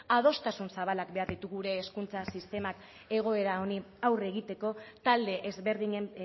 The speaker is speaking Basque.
adostasun zabalak behar ditu gure hezkuntza sistemak egoera honi aurre egiteko talde ezberdinen